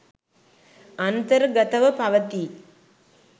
අන්තර්ගතව පවතී.